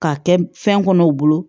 K'a kɛ fɛn kɔnɔ u bolo